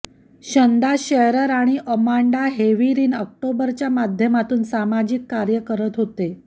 Shanda Sharer आणि Amanda Heavrin ऑक्टोबरच्या माध्यमातून सामाजिक कार्य करत होते